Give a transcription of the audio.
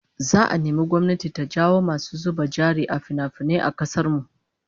Za'a nemi gwamnati ta jawo masu zuba jari a finafinai a kasar mu